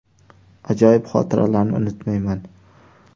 Ajoyib xotiralarni unutmayman.